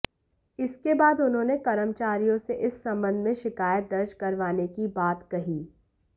इसके बाद उन्होंने कर्मचारियों से इस संबंध में शिकायत दर्ज करवाने की बात कही